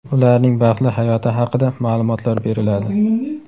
ularning baxtli hayoti haqida ma’lumotlar beriladi.